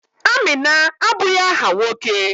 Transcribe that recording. Amina abụghị áhà nwoke.